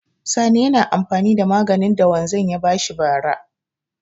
Sani yana amfani da maganin da wanzan ya ba shi bara.